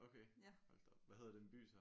Okay hold da op hvad hedder den by så?